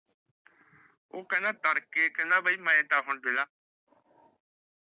ਉਹ ਕਹਿੰਦਾ ਤੜਕੇ ਕਹਿੰਦਾ ਬਾਈ ਮੈ ਤਾਂ ਹੁਣ